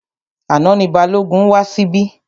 Àná ni Balógun wá síbí.